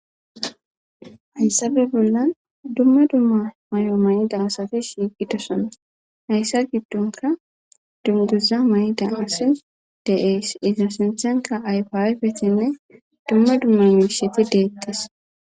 hayssafe bollan dumma dumma may7o may7i daasati shiiqidosana hayssa giddonka dunguza may7i da asi deees izissinthanka ayfaafetinne dumma dumma miisheti deettas